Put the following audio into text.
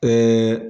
Ɛɛ